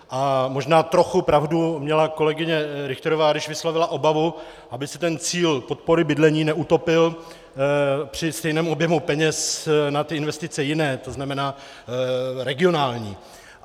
A možná trochu pravdu měla kolegyně Richterová, když vyslovila obavu, aby se ten cíl podpory bydlení neutopil při stejném objemu peněz na ty investice jiné, to znamená regionální.